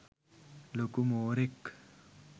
ලොකු මෝරෙක්